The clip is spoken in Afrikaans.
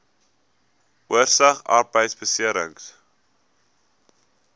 oorsig arbeidbeserings